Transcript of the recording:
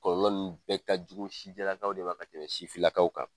Kɔlɔlɔ nun bɛɛ ka jugu sijɛ lakaw de kan ka tɛmɛ sifin lakaw kan.